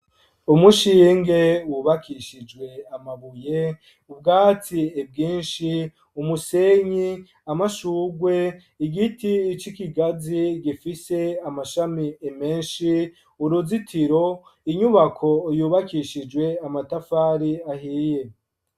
Umushinge wubakishijwe amabuye ubwatsi bwinshi umusenyi amashurwe igiti c'ikigazi gifise amashami menshi uruzitiro inyubako yubakishijwe amatafari ahiye.